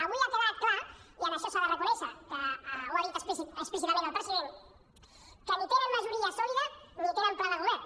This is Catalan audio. avui ha quedat clar i això s’ha de reconèixer que ho ha dit explícitament el president que ni tenen majoria sòlida ni tenen pla de govern